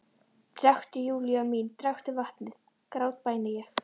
Drekktu, Júlía mín, drekktu vatnið, grátbæni ég.